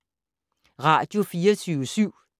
Radio24syv